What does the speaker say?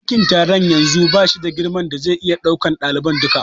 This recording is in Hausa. Ɗakin taron yanzu bashi da girman da zai iya ɗaukan ɗaliban duka.